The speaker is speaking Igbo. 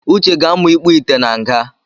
Uche ga-amụ ikpuite na nga